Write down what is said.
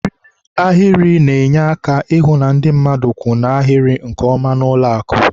Eriri ahịrị na-enye aka ịhụ na ndị mmadụ kwụ n' ahịrị nke ọma n'ụlọakụ